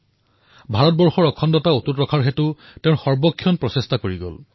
তেওঁ সৰ্বদা ভাৰতৰ অখণ্ডতা অক্ষুণ্ণ ৰখাৰ বাবে ব্যস্ত হৈ থাকিল